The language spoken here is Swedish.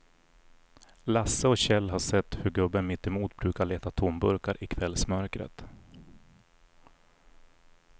Lasse och Kjell har sett hur gubben mittemot brukar leta tomburkar i kvällsmörkret.